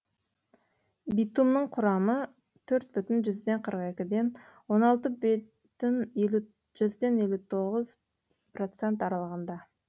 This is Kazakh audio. битумның құрамы төрт бүтін жүзден қырық екіден он алты бүтін жүзден он тоңызпроцент аралығында